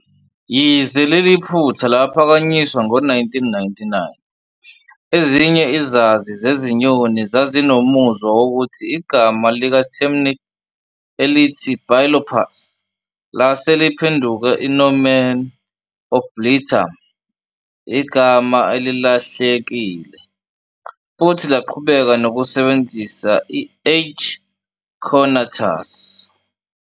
Yize leli phutha laphakanyiswa ngo-1999, ezinye izazi zezinyoni zazinomuzwa wokuthi igama likaTemminck elithi bilophus lase liphenduke i-nomen oblitum, igama elilahlekile, futhi laqhubeka nokusebenzisa "I-H. cornutus".